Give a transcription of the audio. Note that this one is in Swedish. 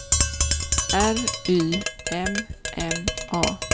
R Y M M A